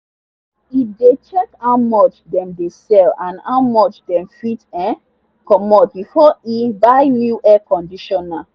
e dey check how much dem dey sell and how much dem fit um comot before e buy new air conditioner.